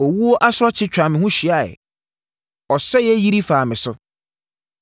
Owuo asorɔkye twaa me ho hyiaeɛ; ɔsɛeɛ yiri faa me so.